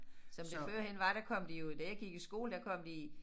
Som det førhen var der kom de jo da jeg gik i skole der kom de i